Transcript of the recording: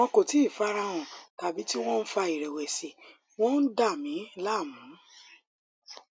wọn kò tíì fara hàn tàbí tí wọn ń fa ìrèwèsì wọn ń dà mí láàmú